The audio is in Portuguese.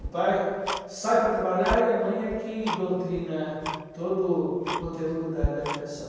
O pai sai para trabalhar e a mãe é que doutrina todo o conteúdo da da educação.